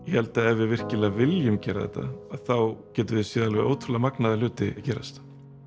ég held að ef við virkilega viljum gera þetta þá getum við séð alveg ótrúlega magnaða hluti gerast